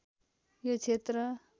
यो क्षेत्र